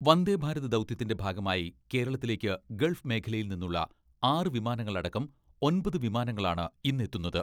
വന്ദേഭാരത് ദൗത്യത്തിന്റെ ഭാഗമായി കേരളത്തിലേക്ക് ഗൾഫ് മേഖലയിൽ നിന്നുള്ള ആറ് വിമാനങ്ങളടക്കം ഒൻപത് വിമാനങ്ങളാണ് ഇന്നെത്തുന്നത്.